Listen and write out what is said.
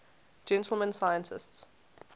gentleman scientists